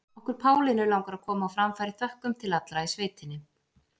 Okkur Pálínu langar að koma á framfæri þökkum til allra í sveitinni.